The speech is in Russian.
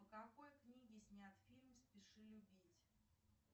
по какой книге снят фильм спеши любить